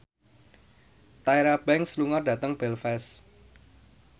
Tyra Banks lunga dhateng Belfast